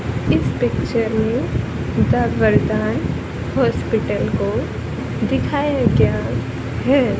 इस पिक्चर में द वर्दे हॉस्पिटल को दिखाया गया है।